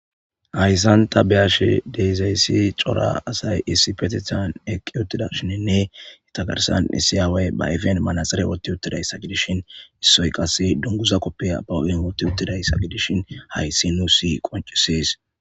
Hayssanta be ash dezayssi cora asay issi petithan eqqi uttida shininne itagarsan issiyaawey ba ifen manaxere wotti uttidayssa gidishin issoy qasse dunguza koppe abawu7in wotti uttidayssa gidishin hayssi nu si qoncisees